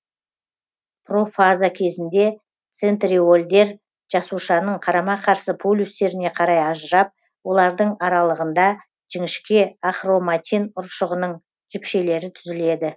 профаза кезінде центриольдер жасушаның қарама қарсы полюстеріне қарай ажырап олардың аралығында жіңішке ахроматин ұршығының жіпшелері түзіледі